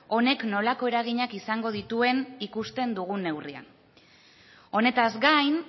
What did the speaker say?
honek nolako eraginak izango dituen ikusten dugun neurrian honetaz gain